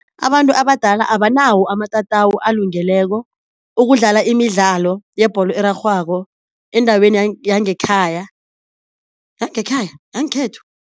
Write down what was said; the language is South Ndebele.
Abantu abadala abanawo amatatawu alungeleko ukudlala imidlalo yebholo erarhwako endaweni yangekhaya, yangekhaya yangekhethu.